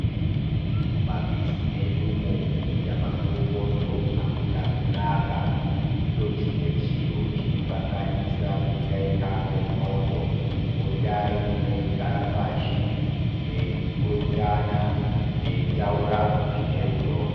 Mumamizi medumo kuita mabopoto akuna kunaka. Ndicho chimwe chiro chinokanganisa kuteka kwendxondo. Potai mweigara pashi mweipurutana mweitaura zvine rudo.